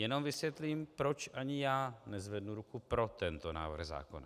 Jenom vysvětlím, proč ani já nezvednu ruku pro tento návrh zákona.